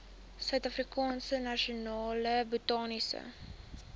suidafrikaanse nasionale botaniese